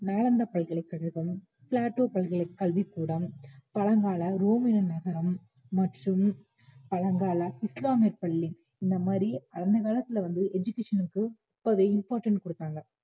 நாலந்தா பல்கலைக்கழகம், பிளாட்டோ பல்கலை கல்விக்கூடம், பழங்கால ரோமின நகரம் மற்றும் பழங்கால இஸ்லாமிய பள்ளி இந்த மாதிரி அந்த காலத்துல வந்து education க்கு ஒரு important கொடுத்தாங்க